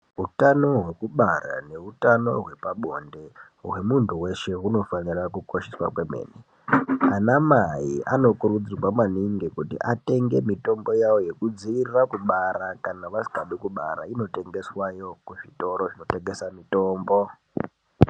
Utano wekubara neutano wepabonde wemuntu weshe unofanira kukosheswa kwemene ana mai anokurudzirwa maningi kuti atenge mitomboyavo yekudzivirira kubara kana vasingadi kubara inotengeswa yoo kuzvitoro zvinotengesa mitombo.